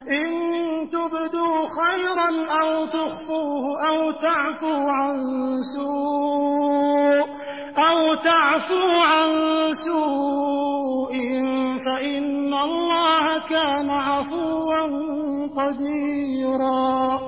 إِن تُبْدُوا خَيْرًا أَوْ تُخْفُوهُ أَوْ تَعْفُوا عَن سُوءٍ فَإِنَّ اللَّهَ كَانَ عَفُوًّا قَدِيرًا